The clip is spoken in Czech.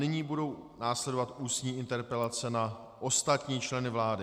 Nyní budou následovat ústní interpelace na ostatní členy vlády.